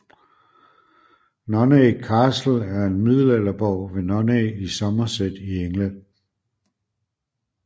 Nunney Castle er en middelalderborg ved Nunney i Somerset i England